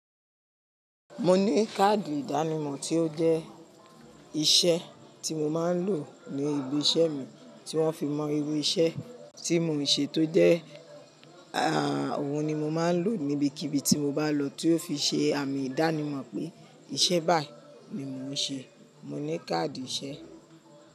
Mo ní káàdì ìdánimọ̀ tí ó jẹ́ iṣẹ́ tí mo máa ń lò ní ibi iṣẹ́ mi tí wọ́n fi mọ̀ irú iṣẹ́ tí mo ń ṣe tó jẹ́ err ohun ni mo máa ń lò níbi kíbi tí mo bá lọ tí hun ó fi ṣe àmì ìdánimọ̀ pé iṣẹ́ báyì ohun ni mo ń ṣe. Mo ní káàdì iṣẹ́.